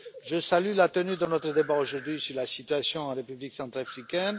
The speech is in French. Je salue la tenue de notre débat aujourd'hui sur la situation en République centrafricaine.